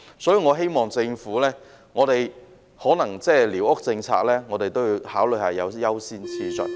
所以，我希望在寮屋政策方面，政府也考慮措施的優先次序。